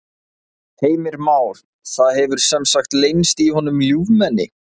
Heimir Már: Það hefur sem sagt leynst í honum ljúfmenni?